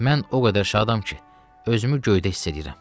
Mən o qədər şadam ki, özümü göydə hiss edirəm.